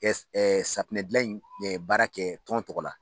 safunɛ dilan in baara kɛ tɔn tɔgɔ la.